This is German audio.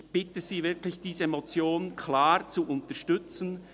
Ich bitte Sie wirklich, diese Motion klar zu unterstützen.